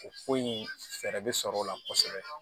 O ko in fɛɛrɛ bɛ sɔrɔ o la kosɛbɛ